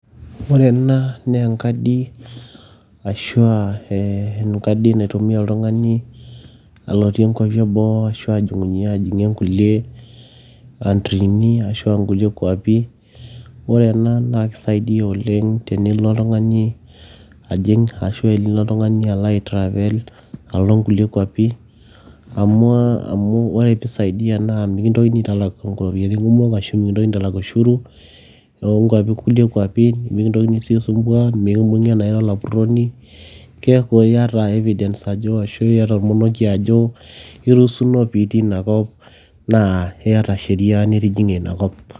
ore ena naa enkadi arashua enkadi naitumia oltung'ani alotie inkuapi eboo ashu ajing'unyie inkulie antrini ashua nulie kuapi ore ena naa kisaidia oleng tenilo oltung'ani ajing ashu ilo oltung'ani alo ae travell alo inkulie kuapi amu ore piisaidia naa mikintokini aiutalak iropiyiani kumok ashu mikintokini aitalak ushuru oonkuapi kulie kuapi mikintokini sii aisumbua mikibung'i anaa ira olapurroni keeku iyata evidence ajo ashu iyata ormonekie ajo iruusuno pitii inakop naa iyata sheria nitijing'ie inakop.